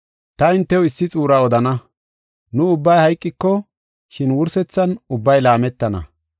Ta hintew issi xuura odana. Nu ubbay hayqoko, shin wursethan ubbay laametana.